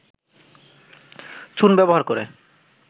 চুন ব্যবহার করে